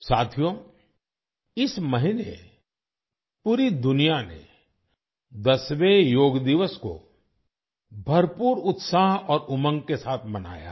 साथियो इस महीने पूरी दुनिया ने 10वें योग दिवस को भरपूर उत्साह और उमंग के साथ मनाया है